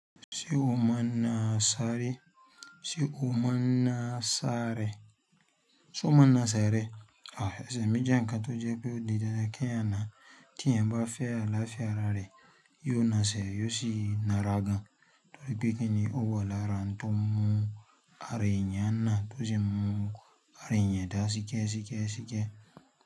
Ṣé o mọ̀ náà sáré? Ṣé o mọ̀ náà sárẹ? Ṣé o mọ̀ náà sáré? Sẹ̀, èmí jẹ́ nǹkan tó jẹ́ pé òdì dandan k'eyan náà. T'éèyàn bá fẹ́ àlàáfíà ara rẹ, yóò na sẹ̀ yóò sì na rà gan. Torí pé kíni o wà lára nǹkan tó mú ara èyàn náà tó sì mú ara èyàn dá síkẹ́ síkẹ́ síkẹ́.